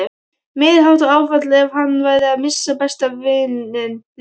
Meiriháttar áfall ef hann færi að missa besta vininn líka.